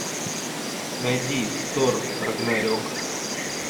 найди тор рагнарек